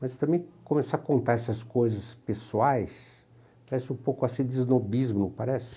Mas também começar a contar essas coisas pessoais parece um pouco assim de esnobismo, não parece?